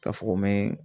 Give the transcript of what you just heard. Ka fɔ ko me